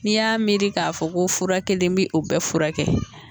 N'i y'a miiri k'a fɔ ko fura kelen mɛ o bɛɛ fura kɛ.